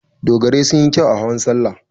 Dogarai sun yi kyau a hawan salla.